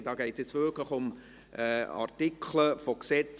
hier geht es nun wirklich um Artikel von Gesetzen.